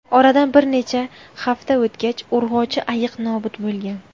Oradan bir necha hafta o‘tgach urg‘ochi ayiq nobud bo‘lgan.